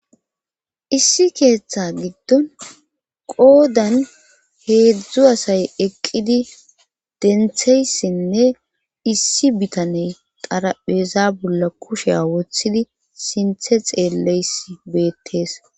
issi keeththa giddon qoodan heedzdzu asay eqqidi dentheyssinne issi bitaney qarapheeza bolla kusheya woththidi sinthe xeelleys beettees.